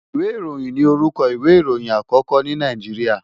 Ìwé ìròhìn ni orúkọ ìwé ìròyìn àkókó ní Nàìjíríà.